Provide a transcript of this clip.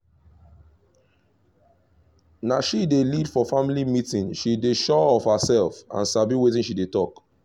na she dey lead for family meeting she dey sure of herself and sabi wetin she dey talk